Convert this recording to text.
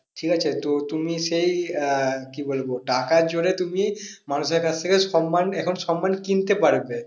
ঠিক আছে তো তুমি সেই আহ কি বলবো টাকার জোরে তুমি মানুষের কাছ থেকে সন্মান এখন সন্মান কিনতে পারবে।